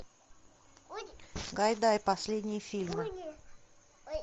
гайдай последние фильмы